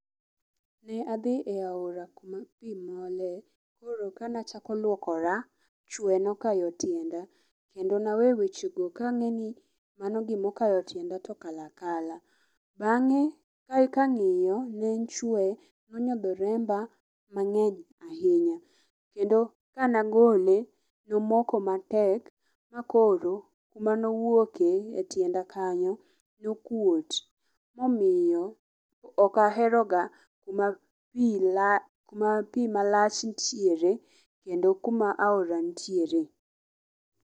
Ne adhi e aora kuma pi mole. Koro kanachako luokora, chwe nokayo tienda. Kendo nawe weche go kang'eni manigimokayo tienda tokalo akala. Bang'e ka ang'iyo, ne en chwe no nyodho remba mang'eny ahinya. Kendo ka negole, nomoko matek makoro kumanowuoke e tienda kanyo nokuot momiyo ok aheroga kuma pi kuma pi malach nitiere kendo kuma aora nitiere.